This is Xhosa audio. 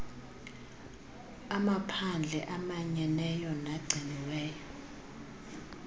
amaphandle amanyeneyo nagciniweyo